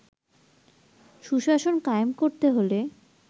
সুশাসন কায়েম করতে হলে